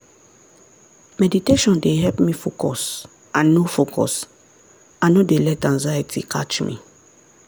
meditation dey help me focus and no focus and no dey let anxiety catch me.